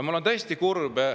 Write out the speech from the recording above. Ma olen tõesti kurb.